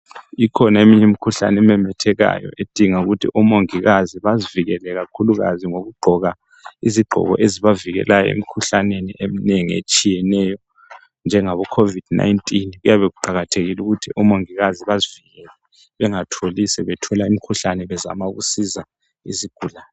Ikhona eminye imikhuhlane ememethekayo edinga ukuthi omongikazi bazivikele kakhulukazi ngokugqoka izigqoko ezibavikelayo emikhuhlaneni eminengi etshiyeneyo njengabo COVID-19 kuyabe kuqakathekile ukuthi abongikazi bazivikele bangazitholi sebethola umkhuhlane bezama ukusiza izigulane.